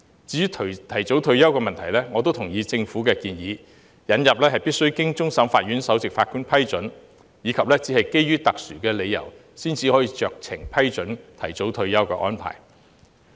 至於提早退休的問題，我也同意政府的建議，引入須經終審法院首席法官批准，以及只有基於特殊理由才可酌情批准提早退休的安排。